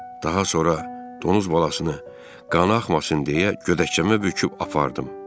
Daha sonra donuz balasını qana axmasın deyə gödəkcəmə büküb apardım.